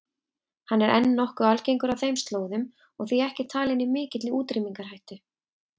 Hann er enn nokkuð algengur á þeim slóðum og því ekki talinn í mikilli útrýmingarhættu.